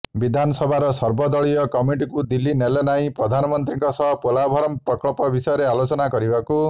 ବିଧାନସଭାର ସର୍ବଦଳୀୟ କମିଟିକୁ ଦିଲ୍ଲୀ ନେଲେ ନାହିଁ ପ୍ରଧାନମନ୍ତ୍ରୀଙ୍କ ସହ ପୋଲାଭରମ୍ ପ୍ରକଳ୍ପ ବିଷୟରେ ଆଲୋଚନା କରିବାକୁ